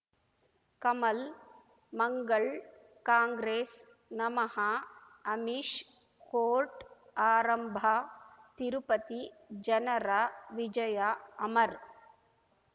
ಕಮಲ್ ಮಂಗಳ್ ಕಾಂಗ್ರೆಸ್ ನಮಃ ಅಮಿಷ್ ಕೋರ್ಟ್ ಆರಂಭ ತಿರುಪತಿ ಜನರ ವಿಜಯ ಅಮರ್